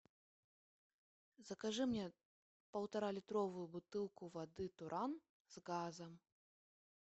закажи мне полтора литровую бутылку воды туран с газом